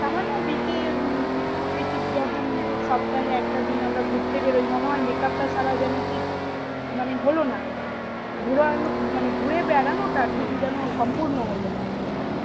সমন্ন week এ উম week এ যখন একটা দিন আমরা ঘুরতে বেরই তখন মনে হয় makeup টা ছাড়া যেন ঠিক মানে হলো না গুরানু মানে ঘুরে বেড়ানো টা ঠিক যেন সম্পুর্ন্ন হলো না